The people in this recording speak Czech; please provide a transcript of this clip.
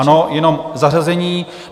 Ano, jenom zařazení.